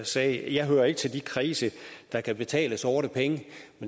sagde jeg hører ikke til de kredse der kan betale sorte penge